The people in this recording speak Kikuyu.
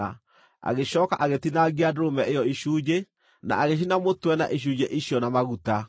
Agĩcooka agĩtinangia ndũrũme ĩyo icunjĩ, na agĩcina mũtwe na icunjĩ icio na maguta.